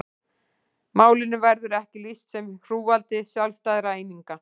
Málinu verður ekki lýst sem hrúgaldi sjálfstæðra eininga.